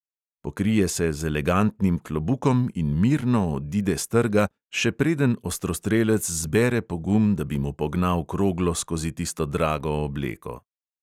Pokrije se z elegantnim klobukom in mirno odide s trga, še preden ostrostrelec zbere pogum, da bi mu pognal kroglo skozi tisto drago obleko.